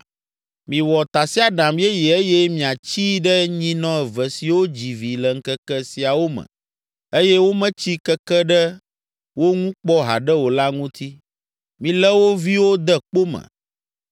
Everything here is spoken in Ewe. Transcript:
“Miwɔ tasiaɖam yeye eye miatsii ɖe nyinɔ eve siwo dzi vi le ŋkeke siawo me eye wometsi keke ɖe wo ŋu kpɔ haɖe o la ŋuti. Milé wo viwo de kpo me.